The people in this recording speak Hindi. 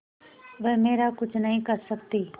वह मेरा कुछ नहीं कर सकती